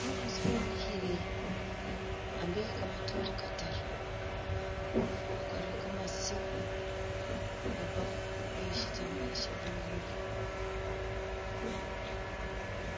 Umukhaasi wemikhile ambi ni kamatoore kataru, wakwarile igomasi iya' purple weboyile sitambala Sha blue imurwe